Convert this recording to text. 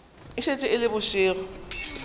e šetše e le bošego